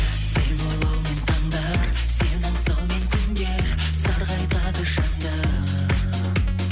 сені ойлаумен таңдар сені аңсаумен күндер сарғайтады жанды